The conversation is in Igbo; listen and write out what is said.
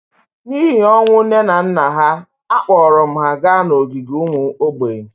n’ihi ọnwụ nne na nna ha, akpọrọ m ha gaa n’ogige ụmụ mgbei